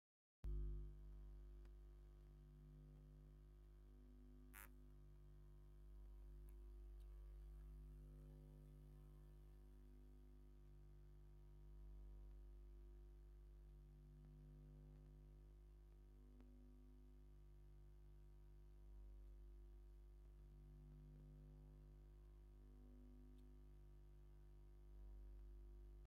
ናይ ዲፕሎማስያዊ ዝምድናን ምትሕብባርን ስምዒት ይህብ። ኣብቲ ምስሊ ምክትል ከንቲባ ከተማ ኣዲስ ኣበባ ኣዳነች ኣበበን ኣምባሳደር እስራኤል ራፋኤል ሞራቭን ኣብ መንበር መምስባንዴረኦም ኮፍ ኢሎም ኣፍራዪ ዘተ ክገብሩ ይረኣዩ። ኣየኖት ክልተ ሃገራት እየን ብድሕሪት ዝረኣያ?